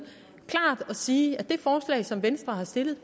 og sige klart at det forslag som venstre har stillet